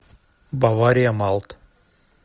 бавария малт